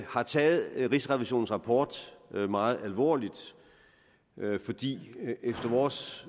har taget rigsrevisionens rapport meget alvorligt fordi det efter vores